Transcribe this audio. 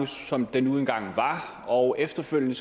som den nu engang var og efterfølgende